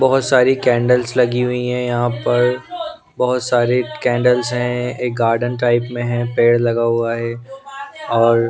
बहुत सारी कैंडल्स लगी हुई हैं यहाँ पर बहुत सारे कैंडल्स हैं एक गार्डन टाइप में हैं पेड़ लगा हुआ हैं और --